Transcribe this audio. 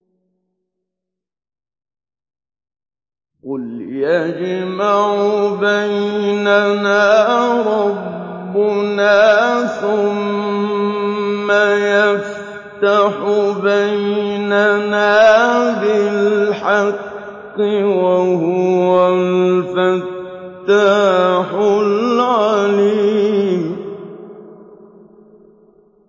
قُلْ يَجْمَعُ بَيْنَنَا رَبُّنَا ثُمَّ يَفْتَحُ بَيْنَنَا بِالْحَقِّ وَهُوَ الْفَتَّاحُ الْعَلِيمُ